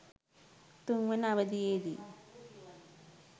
තුන්වන අවධියේදී